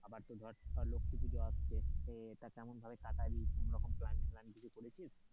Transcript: আবার তো ধর লক্ষী পুজো আসছে, তা কেমন ভাবে কাটাবি কোনো রকম plan টলান কিছু করেছিস,